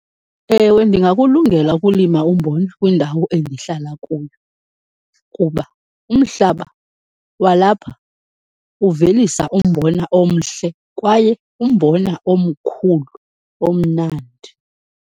Ewe ndingakulungela ukulima umbona kwindawo endihlala kuyo kuba umhlaba walapha uvelisa umbona omhle kwaye umbona omkhulu, omnandi.